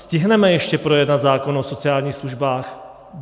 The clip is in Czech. Stihneme ještě projednat zákon o sociálních službách?